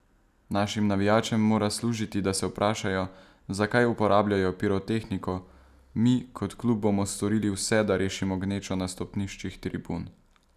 Našim navijačem mora služiti, da se vprašajo, zakaj uporabljajo pirotehniko, mi, kot klub, bomo storili vse, da rešimo gnečo na stopniščih tribun.